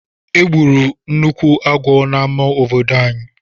Egburu nnukwu agwọ n'amá obodo ànyị.